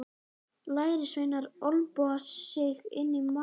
Lærisveinarnir olnboga sig inn í mannþröngina.